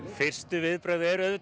fyrstu viðbrögð eru auðvitað